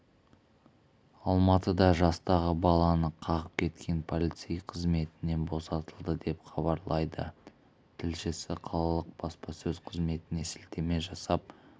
алматыда жастағы баланы қағып кеткен полицей қызметінен босатылды деп хабарлайды тілшісі қалалық баспасөз қызметіне сілтеме жасап